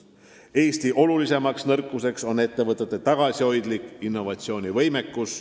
Eesti suurim nõrkus on ettevõtete tagasihoidlik innovatsioonivõimekus.